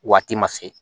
Waati ma se